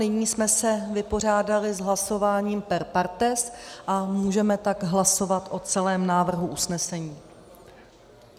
Nyní jsme se vypořádali s hlasováním per partes a můžeme tak hlasovat o celém návrhu usnesení.